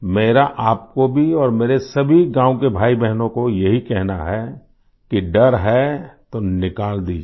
मेरा आपको भी और मेरे सभी गाँव के भाईबहनों को यही कहना है कि डर है तो निकाल दीजिये